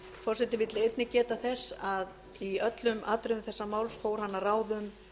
forseti vill einnig geta þess að í öllum atriðum þessa máls fór hann að ráðum